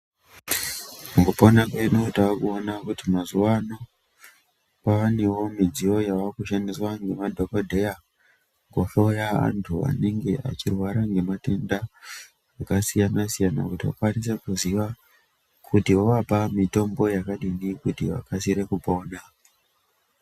Mukupona kwedu tavakuona kuti mazuwaano kwavanewo midziyo yavakushandiswa ngemadhogodheya kuhloya antu anenge achirwara ngematenda akasiyana-siyana kuti vakawanise kuziva kuti vovapa mitombo yakadini kuti vakasire kupona.